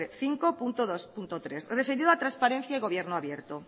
cinco punto dos punto tres referido a transparencia y gobierno abierto